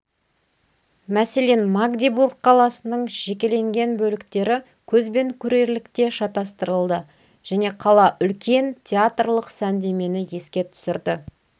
мәселен магдебург қаласының жекеленген бөліктері көзбен көрерлікте шатыстырылды және қала үлкен театрлық сәндемені еске түсірді